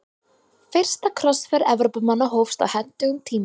Fyrsta krossferð Evrópumanna hófst á hentugum tíma.